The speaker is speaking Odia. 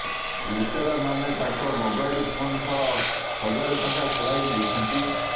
ଲୁଟେରାମାନେ ତାଙ୍କ ମୋବାଇଲ୍ ଫୋନ୍ ସହ ହଜାରେ ଟଙ୍କା ଛଡ଼ାଇ ନେଇଛନ୍ତି